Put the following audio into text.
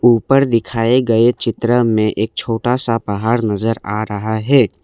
ऊपर दिखाए गए चित्र में एक छोटा सा पहाड़ नजर आ रहा है।